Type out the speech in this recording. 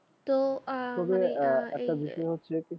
তো আহ একটা বিষয় হচ্ছে আর কি